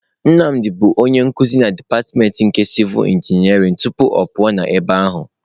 Nnamdi bụ onye nkuzi na dipatịmentị nke sivul injinia tupu ọ pụọ na mba ahụ.